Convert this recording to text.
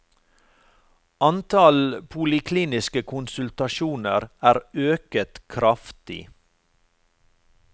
Antall polikliniske konsultasjoner er øket kraftig.